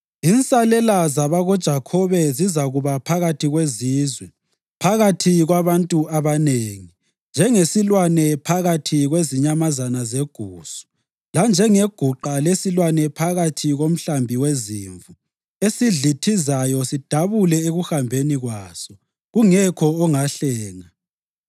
Insalela zabakoJakhobe zizakuba phakathi kwezizwe, phakathi kwabantu abanengi, njengesilwane phakathi kwezinyamazana zegusu, lanjengeguqa lesilwane phakathi komhlambi wezimvu, esidlithizayo sidabule ekuhambeni kwaso, kungekho ongahlenga.